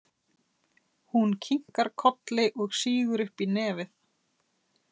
Hún kinkar kolli og sýgur upp í nefið.